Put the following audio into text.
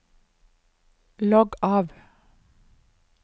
logg av